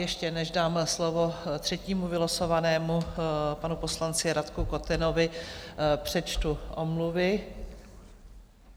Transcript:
Ještě než dám slovo třetímu vylosovanému, panu poslanci Radku Kotenovi, přečtu omluvy.